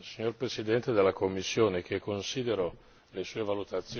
Signor Presidente della Commissione, volevo dirle che considero le sue valutazioni